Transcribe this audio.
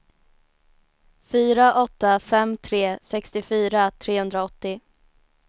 fyra åtta fem tre sextiofyra trehundraåttio